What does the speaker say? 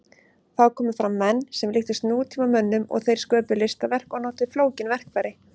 Þá komu fram menn sem líktust nútímamönnum og þeir sköpuðu listaverk og notuðu flókin verkfæri.